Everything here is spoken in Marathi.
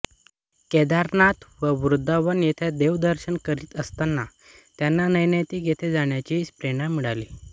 केदारनाथ व वृंदावन येथे देवदर्शन करीत असतांना त्यांना नैनीताल येथे जाण्याची प्रेरणा मिळाली